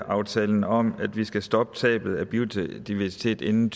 aftalen om at vi skal stoppe tabet af biodiversitet inden